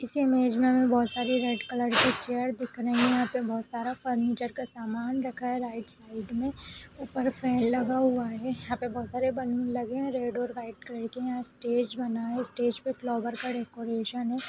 इस इमेज में हमें बहुत सारी रेड कलर की चेयर दिख रही है। यहा पे बहुत सारा फर्नीचर का सामान रखा है। राइट साइड में ऊपर फैन लगा हुआ है। यहाँ पर बहुत सारे बैलून लगे हुए हैं रेड और व्हाइट कलर के। यहां पर स्टेज बना हुआ है स्टेज पर फ्लावर का डेकोरेशन है।